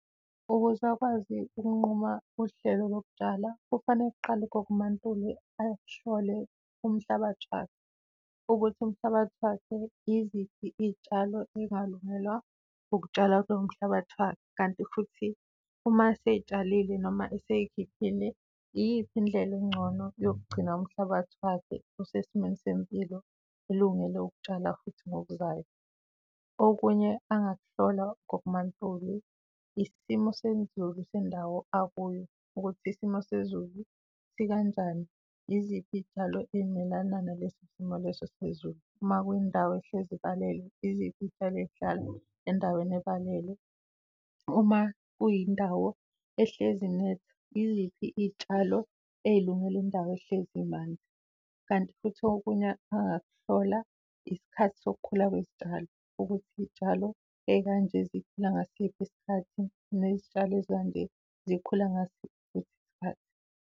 Ukuze akwazi ukunquma uhlelo lokutshala, kufanele kuqale ugogo uMaNtuli ahole umhlabathi wakhe ukuthi umhlabathi wakhe iziphi iy'tshalo ongalungelwa ukutshalwa lomhlabathi wakho kanti futhi uma eyitshalile noma esiy'khiphile, iyiphi indlela engcono yokugcina umhlabathi wakhe usesimweni sempilo, kulungele ukutshalwa futhi ngokuzayo. Okunye angakuhlola ugogo uMaNtuli, isimo sezulu sendawo akuyo ukuthi isimo sezulu sikanjani, iziphi iy'tshalo ey'melana naleso simo leso sizulu. Uma kwendawo ehlezi ibala, iziphi itshalwe sihlala endaweni ebhalelwe uma kuyindawo ehlezi net. Iyiphi itshalo ezilungile indawo ehlezi imanzi, kanti futhi okunye angakuhlola isikhathi sokukhula kwezitshalo ukuthi izitshalo ey'kanje zikhula ngasiphi isikhathi nezitshalo azikanje zikhula ngasiphi isikhathi.